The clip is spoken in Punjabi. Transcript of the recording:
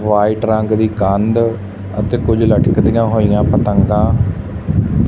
ਵ੍ਹਾਈਟ ਰੰਗ ਦੀ ਕੰਧ ਅਤੇ ਕੁਛ ਲਟਕਦੀਆਂ ਹੋਈਆਂ ਪਤੰਗਾਂ--